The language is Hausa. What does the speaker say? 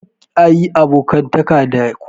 Karka yi abokantaka da kowa.